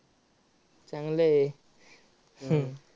चांगलं आहे. हम्म